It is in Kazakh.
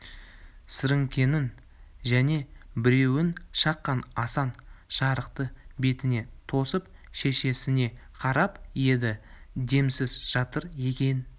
сіріңкенің және біреуін шаққан асан жарықты бетіне тосып шешесіне қарап еді демсіз жатыр екен